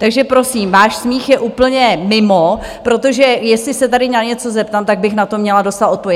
Takže prosím, váš smích je úplně mimo, protože jestli se tady na něco zeptám, tak bych na to měla dostat odpověď.